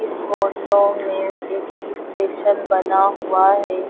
Photo में एक station बना हुआ है।